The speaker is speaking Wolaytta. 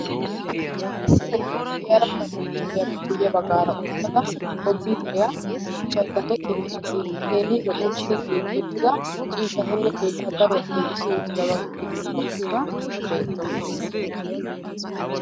Issi na'iyaa de'iyara paranichicheriyappe guyye baggaara uttada komppiiteriya bochchayddanne keetta keehi lo"i uttida ciishatanne keettaa daruwaa giigissi uttidaaga giddon uttada beettawusu.